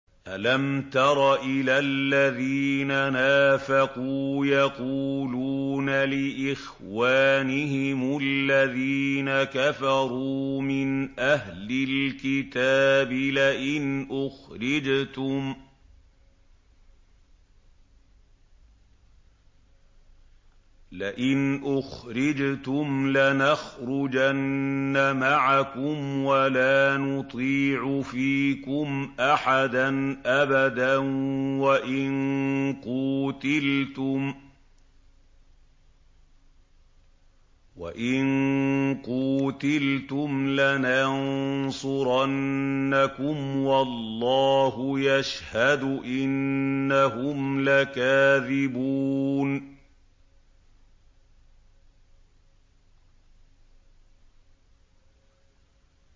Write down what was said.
۞ أَلَمْ تَرَ إِلَى الَّذِينَ نَافَقُوا يَقُولُونَ لِإِخْوَانِهِمُ الَّذِينَ كَفَرُوا مِنْ أَهْلِ الْكِتَابِ لَئِنْ أُخْرِجْتُمْ لَنَخْرُجَنَّ مَعَكُمْ وَلَا نُطِيعُ فِيكُمْ أَحَدًا أَبَدًا وَإِن قُوتِلْتُمْ لَنَنصُرَنَّكُمْ وَاللَّهُ يَشْهَدُ إِنَّهُمْ لَكَاذِبُونَ